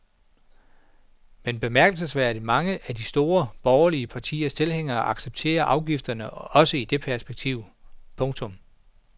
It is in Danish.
Men bemærkelsesværdigt mange af de to store borgerlige partiers tilhængere accepterer afgifterne også i det perspektiv. punktum